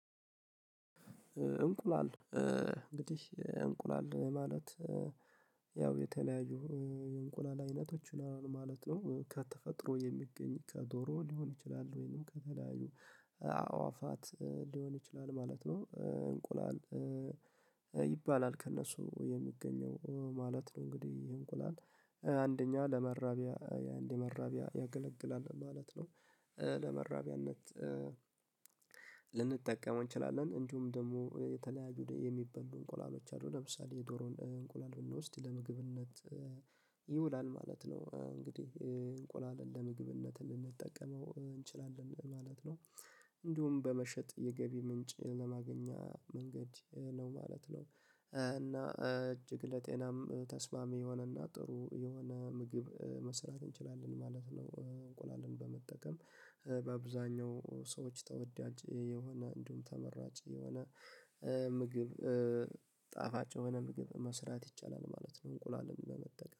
እንቁላል እንግዲህ እንቁላል ማለት ያው የተለያዩ የእንቁላል አይነቶች ምናምን ማለት ነው። ከተፈጥሮ የሚገኝ ከዶሮ ሊሆን ይችላል ወይንም ከተለያዩ አዋፋት ሊሆን ይችላል ማለት ነው። እንቁላል ይባላል ከእነሱ የሚገኘው ማለት ነው እንግዲህ ይህ እንቁላል። አንደኛ ለመራቢያ እንደ መራቢያ ያገለግላል ማለት ነው። ለመራቢያነት ልንጠቀመው እንችላለን እንዲሁም ደግሞ የተለያዩ የሚበሉ እንቁላሎች አሉ። ለምሳሌ የዶሮን እንቁላል ብንወስድ ለምግብነት ይውላል ማለት ነው። እንግዲህ እንቁላልን ለምግብነት ልንጠቀመው እንችላለን ማለት ነው። እንዲሁም በመሸጥ የገቢ ምንጭ ለማግኛ መንገድ ነው ማለት ነው። እና እጅግ ለጤናም ተስማሚ የሆነና ጥሩ የሆነ ምግብ መስራት እንችላለን ማለት ነው። እንቁላልን በመጠቀም በአብዛኛው ሰዎች ተወዳጅ የሆነ እንዲሁም ተመራጭ የሆነ ምግብ ጣፋጭ የሆነ ምግብ መስራት ይቻላል ማለት ነው እንቁላልን በመጠቀም።